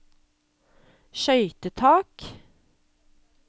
skøytetak